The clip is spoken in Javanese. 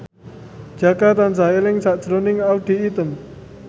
Jaka tansah eling sakjroning Audy Item